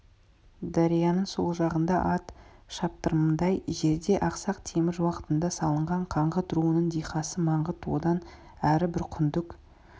дарияның сол жағында ат шаптырымдай жерде ақсақ темір уақытында салынған қаңғыт руының дихасы маңғыт одан әрі бір күндік